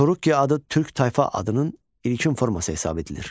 Turukki adı türk tayfa adının ilkin forması hesab edilir.